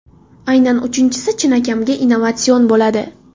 Aynan uchinchisi chinakamiga innovatsion bo‘ladi.